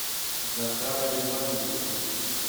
захара ивановича